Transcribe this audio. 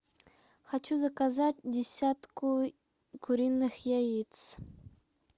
хочу заказать десятку куриных яиц